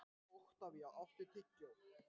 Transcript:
Oktavía, áttu tyggjó?